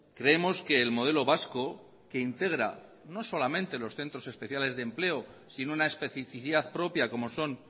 creemos que el modelo vasco que integra no solamente los centros especiales de empleo sin una especificidad propia como son